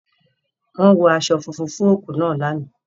Wọ́n wọ aṣọ funfun fún òkú náà lánàá.